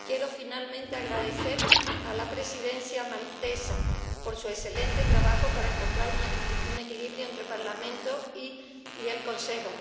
Quiero finalmente expresar mi agradecimiento a la Presidencia maltesa por su excelente trabajo para encontrar un equilibrio entre el Parlamento y el Consejo.